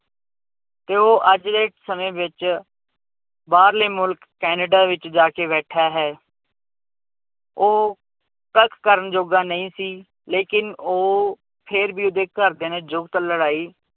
ਤੇ ਉਹ ਅੱਜ ਦੇ ਸਮੇਂ ਵਿੱਚ ਬਾਹਰਲੇ ਮੁਲਕ ਕੈਨੇਡਾ ਵਿੱਚ ਜਾ ਕੇ ਬੈਠਾ ਹੈ ਉਹ ਕੱਖ ਕਰਨ ਜੋਗਾ ਨਹੀਂ ਸੀ, ਲੇਕਿੰਨ ਉਹ ਫਿਰ ਵੀ ਉਹਦੇ ਘਰਦਿਆਂ ਨੇ ਜੁਗਤ ਲੜਾਈ